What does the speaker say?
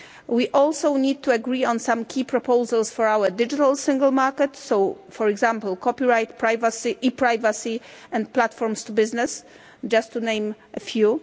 We also need to agree on some key proposals for our digital Single Market, for example, copyright, e privacy and platforms to business, just to name a few.